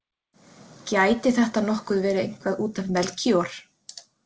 Gæti þetta nokkuð verið eitthvað út af Melkíor?